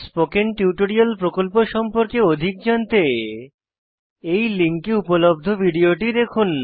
spoken tutorial প্রকল্প সম্পর্কে অধিক জানতে এই লিঙ্কে উপলব্ধ ভিডিওটি দেখুন